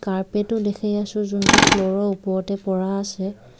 কৰ্পেটো দেখি আছো যোনতো ফ্ল'ৰৰ ওপৰতে পৰা আছে।